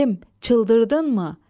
Səlim, çıldırdınmı?